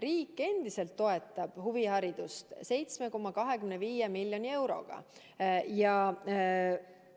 Riik endiselt toetab huviharidust 7,25 miljoni euroga ja